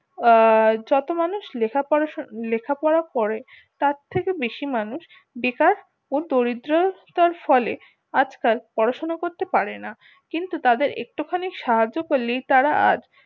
আহ যত মানুষ লেখা পড়া লেখা পড়া করে তার থেকে বেশি মানুষ বেকার ও দরিদ্রতার ফলে আজ কাল পড়াশুনা করতে পারে না কিন্তু তাদের কে একটু খানি সাহায্য করলেই তারা আজ